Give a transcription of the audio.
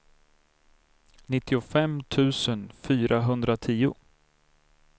nittiofem tusen fyrahundratio